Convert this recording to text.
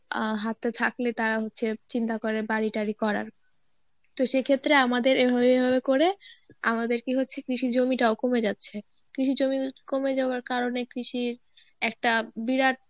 আ হাতে থাকলে তারা হচ্ছে চিন্তা করে বাড়ি টারি করার তো সেক্ষেত্রে আমাদের এভাবে এভাবে করে, আমাদের কি হচ্ছে কৃষি জমিটাও কমে যাচ্ছে. কৃষি জমি কমে যাওয়ার কারনে কৃষির একটা বিরাট